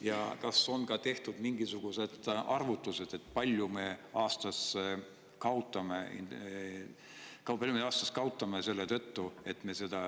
Ja kas on tehtud mingisugused arvutused, kui palju me aastas kaotame selle tõttu, et me seda